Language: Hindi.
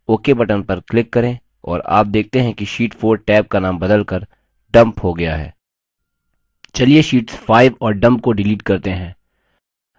ok button पर click करें और आप देखते हैं कि sheet 4 टैब का नाम बदलकर dump हो गया है चलिए sheets 5 और dump को डिलीट करते हैं